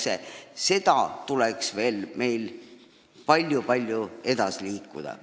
Selles töös tuleks meil veel palju-palju edasi liikuda.